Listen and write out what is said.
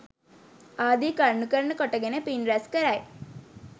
ආදි කරුණු කරන කොටගෙන පින් රැස් කරයි.